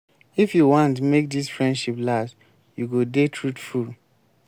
if you want make dis friendship last you go dey truthful.